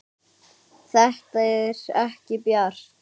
Þetta er ekki bjart.